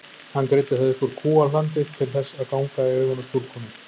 Hann greiddi það upp úr kúahlandi til þess að ganga í augun á stúlkunum.